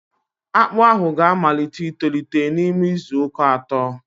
Akpụ ahụ ga-amalite itolite n'ime izu uka atọ